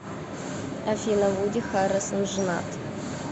афина вуди харрельсон женат